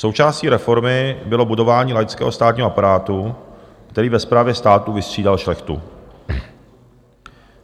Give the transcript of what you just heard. Součástí reformy bylo budování laického státního aparátu, který ve správě státu vystřídal šlechtu.